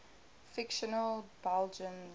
fictional belgians